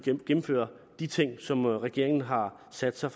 gennemfører de ting som regeringen har sat sig